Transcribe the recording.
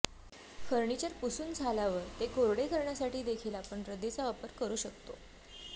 furniture पुसून झाल्यावर ते कोरडे करण्यासाठी देखील आपण रद्दीचा वापर करू शकतो